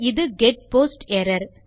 ஆகவே இது get post error